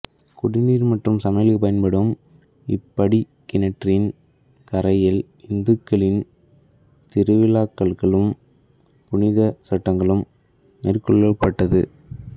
குடிநீர் மற்றும் சமையலுக்கு பயன்படும் இப்படிக்கிணற்றின் கரையில் இந்துக்களின் திருவிழாக்களுக்களும் புனிதச் சடங்குகளும் மேற்கொள்ளப்பட்டது